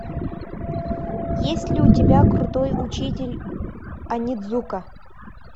есть ли у тебя крутой учитель онидзука